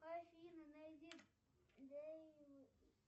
афина найди